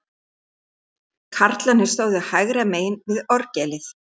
Karlarnir stóðu hægra megin við orgelið.